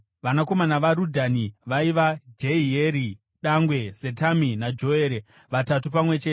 Vanakomana vaRadhani vaiva: Jehieri dangwe, Zetami naJoere, vatatu pamwe chete.